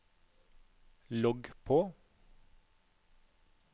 logg på